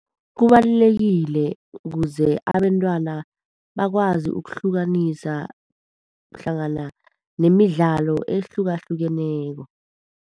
Kubalulekile ukuze abantwana bakwazi ukuhlukanisa hlangana nemidlalo ehlukahlukeneko.